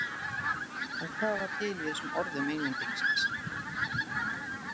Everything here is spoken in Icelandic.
En hvað var til í þessum orðum Englendingsins?